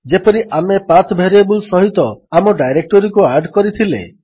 ଯେପରି ଆମେ ପାଠ ଭାରିଏବଲ୍ ସହିତ ଆମ ଡାଇରେକ୍ଟୋରୀକୁ ଆଡ୍ କରିଥିଲେ